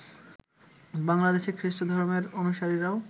বাংলাদেশের খ্রিষ্ট ধর্মের অনুসারীরাও